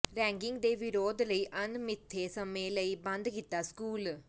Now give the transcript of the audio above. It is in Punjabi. ਰੈਗਿੰਗ ਦੇ ਵਿਰੋਧ ਲਈ ਅਣਮਿੱਥੇ ਸਮੇਂ ਲਈ ਬੰਦ ਕੀਤਾ ਸਕੂਲ